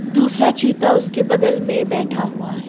दूसरा चीता उसके बगल में बैठा हुआ है।